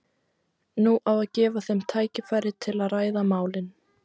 Nú á að gefa þeim tækifæri til að ræða málin.